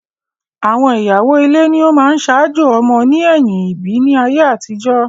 Àwọn ìyàwó ile ni ọ máa ń saájò ọmọ ní ẹ̀yìm ìbí ní ayé àtijọ́